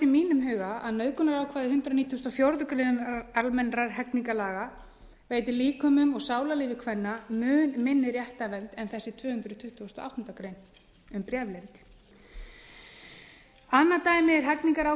mínum huga að nauðgunarákvæði hundrað nítugasta og fjórðu grein almennra hegningarlaga veitir líkömum og sálarlífi kvenna mun minni réttarvernd en þessi tvö hundruð tuttugustu og áttundu greinar um bréfleynd annað dæmi er hegningarákvæði